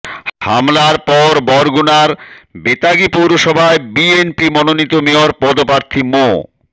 হামলার পর বরগুনার বেতাগী পৌরসভায় বিএনপি মনোনীত মেয়র পদপ্রার্থী মো